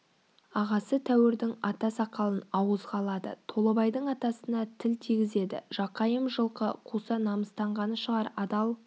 ағасы тәуірдің ата сақалын ауызға алады толыбайдың атасына тіл тигізеді жақайым жылқы қуса намыстанғаны шығар адал